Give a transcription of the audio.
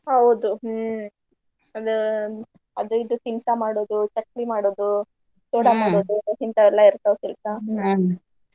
ಹೌದು ಹ್ಮ್ ಅದ~ ಅದು ಇದು ಕೆಲ್ಸ ಮಾಡೋದು ಚಕ್ಲಿ ಮಾಡೋದು ಚೂಡಾ ಮಾಡೋದು ಎಲ್ಲಾ ಇರ್ತಾವ್ ಕೆಲ್ಸ .